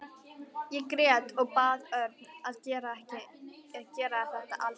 Ég grét og bað Örn að gera þetta ekki.